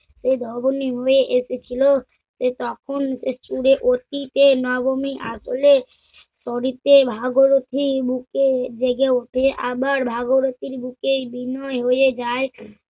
সে বর্গ নিম্নে এসেছিল তাই তখন ওকে চুরে অতীতে নবমী আসলে শনিতে ভাগীরথী বুকে জেগে উঠে আমার ভাগীরথীর বুকেই বিনয় হয়ে যায়